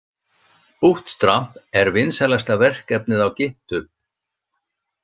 Bootstrap er vinsælasta verkefnið á Github.